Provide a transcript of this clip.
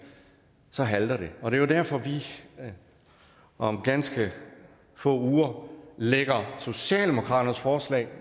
så halter det og det er jo derfor at vi om ganske få uger lægger socialdemokratiets forslag